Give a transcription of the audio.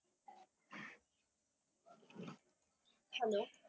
Hello.